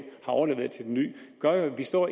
har overleveret til den nye gør jo at vi står